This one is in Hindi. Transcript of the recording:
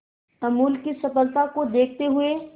अमूल की सफलता को देखते हुए